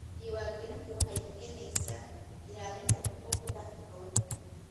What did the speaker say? Diiwaangelintu waxay keenaysaa ilaalinta xuquuqda haweenka.